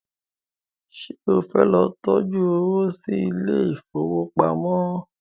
ṣe o fẹ ló tọjú owo sí Ilé ìfowópamọ́?